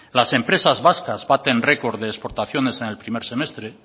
las empresas vascas baten record de exportaciones en el primer semestre